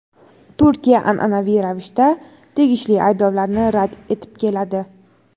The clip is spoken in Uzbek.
Turkiya an’anaviy ravishda tegishli ayblovlarni rad etib keladi.